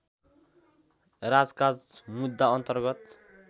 राजकाज मुद्दा अन्तर्गत